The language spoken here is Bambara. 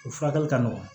O furakɛli ka nɔgɔn